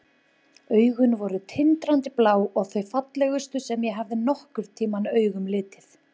Augun voru tindrandi blá og þau fallegustu sem ég hafði nokkurn tímann augum litið.